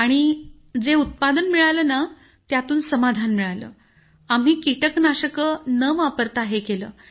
आणि जे उत्पादन मिळालं ना सर त्यातून समाधान मिळालं आम्ही कीटकनाशक न वापरता हे केलं